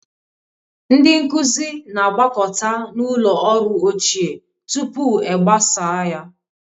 Ndị nkuzi na-agbakọta na ụlọ ọrụ ochie tupu e gbasaa ya.